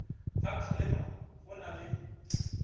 ga kgalema go na le